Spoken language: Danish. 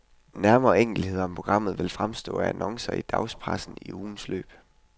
Nærmere enkeltheder om programmet vil fremgå af annoncer i dagspressen i ugens løb.